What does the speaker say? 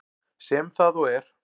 Sem það og er.